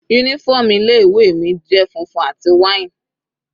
Uniform ilé ìwé mi jẹ́ funfun àti wine.